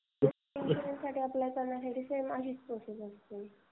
इन्शुरेंससाठी apply करण्यासाठी same अशीच process असते.